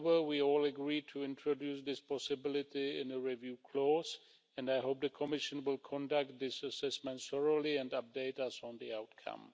However, we all agreed to introduce this possibility in a review clause, and I hope the Commission will conduct these assessments thoroughly and update us on the outcome.